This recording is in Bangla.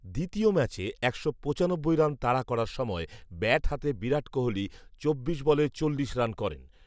দ্বিতীয় ম্যাচে একশো পঁচানব্বই রান তাড়া করার সম়য় ব্যাট হাতে বিরাট কোহলি চব্বিশ বলে চল্লিশ রান করেন